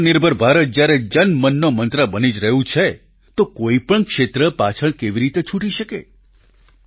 આત્મનિર્ભર ભારત જ્યારે જનમનનો મંત્ર બની જ રહ્યું છે તો કોઈપણ ક્ષેત્ર પાછળ કેવી રીતે છૂટી શકે